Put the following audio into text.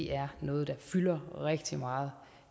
er noget der fylder rigtig meget